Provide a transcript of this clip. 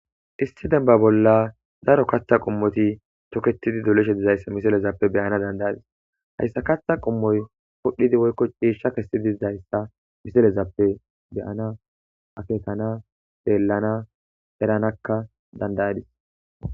Issi demba bolla daro katha qomoy nu derezappe beyana dandayadis ha katha qomoy phudhidi woykon c'isha kesidi dizaysa haysa misiliyappe beyana akkekana xellana eranaka dandayadis.